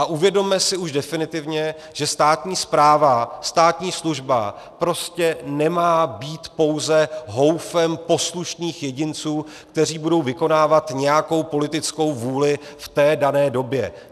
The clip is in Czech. A uvědomme si už definitivně, že státní správa, státní služba prostě nemá být pouze houfem poslušných jedinců, kteří budou vykonávat nějakou politickou vůli v té dané době.